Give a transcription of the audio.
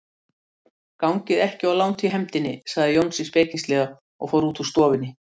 Gangið ekki of langt í hefndinni, sagði Jónsi spekingslega og fór út úr stofunni.